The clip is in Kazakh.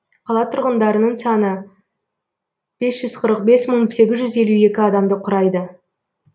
қала тұрғындарының саны бес жүз қырық бес мың сегіз жүз елу екі адамды құрайды